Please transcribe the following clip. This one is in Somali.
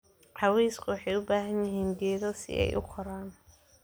Cawsku waxay u baahan yihiin geedo si ay u koraan.